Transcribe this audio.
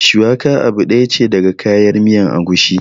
Shuwaka abu ɗaya ce daga kayan miyar agushi